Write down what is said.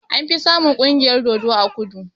Anfi samun ƙungiyar dodo a kudu